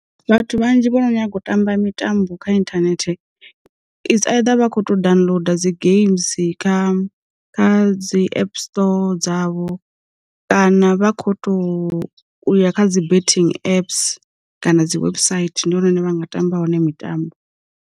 Vhathu vhanzhi vhono nyaga u tamba mitambo kha inthanethe, its either vha kho to downloader dzi geimsi kha kha dzi app store dzavho, kana vha kho to u ya kha dzi bething apps, kana dzi website ndi hone hune vha nga tamba hone mitambo.